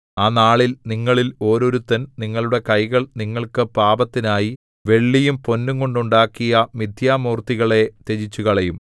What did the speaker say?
ആ നാളിൽ നിങ്ങളിൽ ഓരോരുത്തൻ നിങ്ങളുടെ കൈകൾ നിങ്ങൾക്ക് പാപത്തിനായി വെള്ളിയും പൊന്നുംകൊണ്ട് ഉണ്ടാക്കിയ മിഥ്യാമൂർത്തികളെ ത്യജിച്ചുകളയും